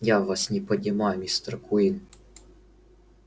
я вас не понимаю мистер куинн